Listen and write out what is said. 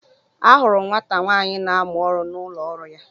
Ahụrụ m nwata nwaanyị na amụ ọrụ n'ụlọ ọrụ ya.